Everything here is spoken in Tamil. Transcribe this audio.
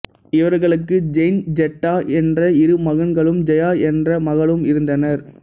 இவர்களுக்கு ஜெயந்த் ஜெட்டா என்ற இரு மகன்களும் ஜெயா என்ற மகளும் இருந்தனர்